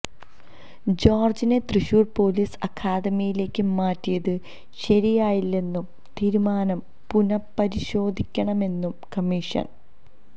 ജോര്ജിനെ Thrissur police അക്കാദമിയിലേക്ക് മാറ്റിയത് ശരിയായില്ലെന്നും തീരുമാനം പുനപ്പരിശോധിക്കണണെന്നും കമ്മീഷന്